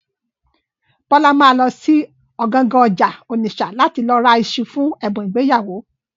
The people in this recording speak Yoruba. Bọ́lá ma lọ sí ọ̀gangan ọjà Ònìṣà láti lọ ra iṣu fún ẹ̀bùn ìgbéyàwó.